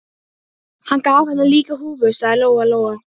Hann varð að finna einhverja aðra fjáröflunarleið.